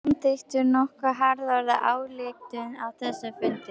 Þið samþykktuð nokkuð harðorða ályktun á þessum fundi?